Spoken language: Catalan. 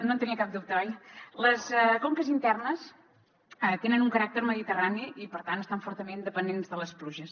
no en tenia cap dubte oi les conques internes tenen un caràcter mediterrani i per tant estan fortament dependents de les pluges